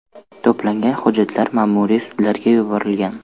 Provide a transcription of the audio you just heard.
To‘plangan hujjatlar ma’muriy sudlarga yuborilgan.